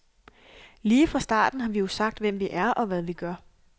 Lige fra starten har vi jo sagt, hvem vi er, og hvad vi gør.